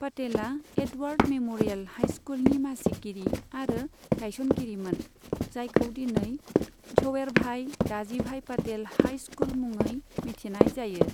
पटेला Edward memorial high स्कुलनि मासिगिरि आरो गायसनगिरिमोन, जायखौ दिनै झवेरभाई दाजिभाई पाटेल हाई स्कुल मुङै मिथिनाय जायो।